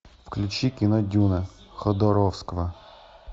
включи кино дюна ходоровского